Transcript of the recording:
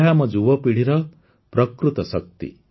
ଏହା ଆମ ଯୁବପିିଢ଼ିର ପ୍ରକୃତ ଶକ୍ତି